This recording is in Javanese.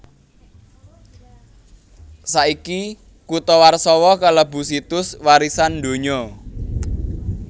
Saiki kutha Warsawa kalebu Situs Warisan Donya